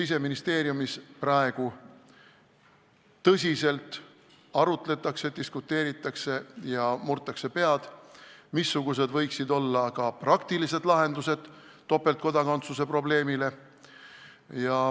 Siseministeeriumis praegu tõsiselt arutletakse, diskuteeritakse ja murtakse pead, missugused võiksid olla praktilised lahendused topeltkodakondsuse probleemile.